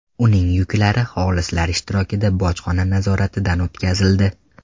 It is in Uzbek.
Uning yuklari xolislar ishtirokida bojxona nazoratidan o‘tkazildi.